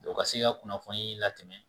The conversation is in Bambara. O ka se ka kunnafoni la tɛmɛ